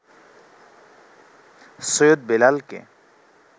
সৈয়দ বেলালকে